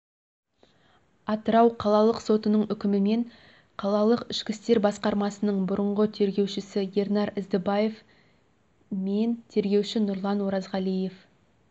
атырау қалалақы сотының үкімімен қалалық ішкі істер басқармасының бұрынғы тергеушісі ернар іздібаев мен тергеуші нұрлан оразғалиев